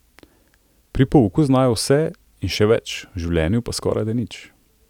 Pri pouku znajo vse in še več, v življenju pa skorajda nič.